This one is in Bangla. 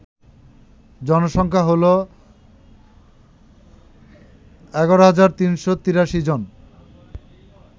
জনসংখ্যা হল ১১৩৮৩ জন